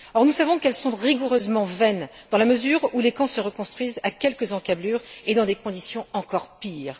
Or nous savons qu'elles sont rigoureusement vaines, dans la mesure où les camps se reconstruisent à quelques encablures et dans des conditions encore pires.